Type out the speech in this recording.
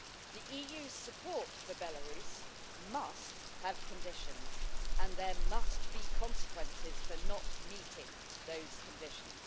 The EU's support for Belarus must have conditions and there must be consequences for not meeting those conditions.